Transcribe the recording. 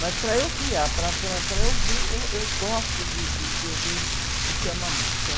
Mas para eu criar, para, para, para eu ouvir, eu, eu gosto de, de, de ouvir, de ter uma música.